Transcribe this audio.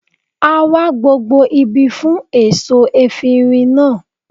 A wá gbogbo ibi fún èso efirin náà